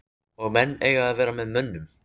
Og menn eiga að vera með mönnum.